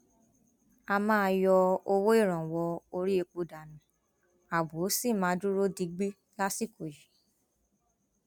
a máa yọ owó ìrànwọ orí epo dànù ààbò sì máa dúró digbí lásìkò yìí